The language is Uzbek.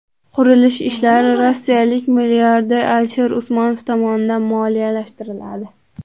Qurilish ishlari rossiyalik milliarder Alisher Usmonov tomonidan moliyalashtiriladi.